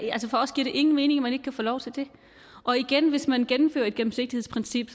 ingen mening at man ikke kan få lov til det hvis man gennemfører et gennemsigtighedsprincip